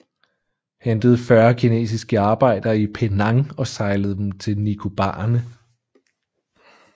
Hentede 40 kinesiske arbejdere i Penang og sejlede dem til Nicobarene